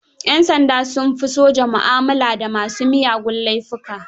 Yan sanda sun fi soja mu'amala da masu miyagun laifuka.